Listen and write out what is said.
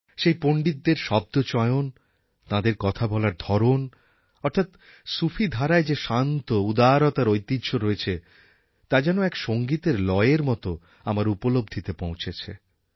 সেই পণ্ডিতদের শব্দচয়ন তাঁদের কথা বলার ধরন অর্থাৎ সুফি ধারায় যে শান্ত উদারতার ঐতিহ্য রয়েছে তা যেন এক সঙ্গীতের লয়ের মতো আমার উপলব্ধিতে পৌঁছেছে